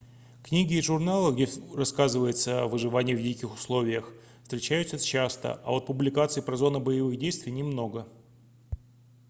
книги и журналы где рассказывается о выживании в диких условиях встречаются часто а вот публикаций про зоны боевых действий немного